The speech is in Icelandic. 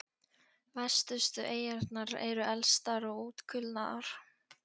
Vestustu eyjarnar eru elstar og útkulnaðar.